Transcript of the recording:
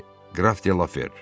Bəli, qraf De Lafer.